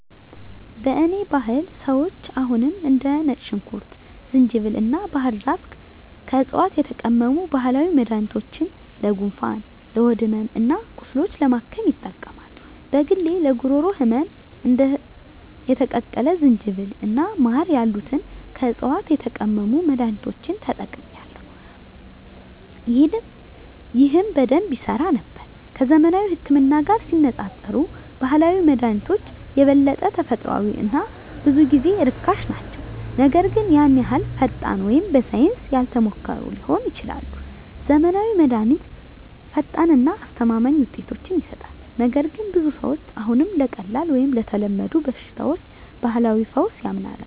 በእኔ ባህል ሰዎች አሁንም እንደ ነጭ ሽንኩርት፣ ዝንጅብል እና ባህር ዛፍ ከዕፅዋት የተቀመሙ ባህላዊ መድኃኒቶችን ለጉንፋን፣ ለሆድ ሕመም እና ቁስሎች ለማከም ይጠቀማሉ። በግሌ ለጉሮሮ ህመም እንደ የተቀቀለ ዝንጅብል እና ማር ያሉትን ከዕፅዋት የተቀመሙ መድኃኒቶችን ተጠቅሜአለሁ፣ ይህም በደንብ ይሠራ ነበር። ከዘመናዊው ህክምና ጋር ሲነፃፀሩ ባህላዊ መድሃኒቶች የበለጠ ተፈጥሯዊ እና ብዙ ጊዜ ርካሽ ናቸው, ነገር ግን ያን ያህል ፈጣን ወይም በሳይንስ ያልተሞከሩ ሊሆኑ ይችላሉ. ዘመናዊው መድሃኒት ፈጣን እና አስተማማኝ ውጤቶችን ይሰጣል, ነገር ግን ብዙ ሰዎች አሁንም ለቀላል ወይም ለተለመዱ በሽታዎች ባህላዊ ፈውስ ያምናሉ.